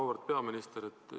Auväärt peaminister!